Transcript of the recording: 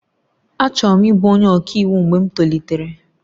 Achọrọ m ịbụ onye ọka iwu mgbe m tolitere